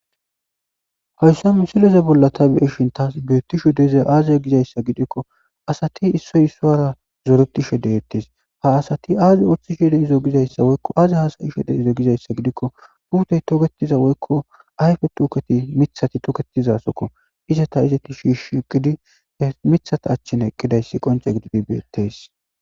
Ero h'i tani be'ishin beetizayi aaze giiko dumma dumma kaththa qommoti dishin he kaththatikka miththa ayffeppe beetizayttakko. Qasse hara baggara daro gidida cora asati dizayssi qonccekko.